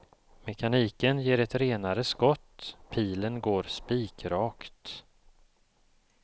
Mekaniken ger ett renare skott, pilen går spikrakt.